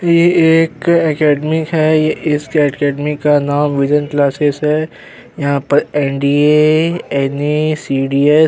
यह एक एकेडमि है। इस अकैडमी का नाम विज़न क्लासेस है। यहां पर एनडीए एनए सीडी --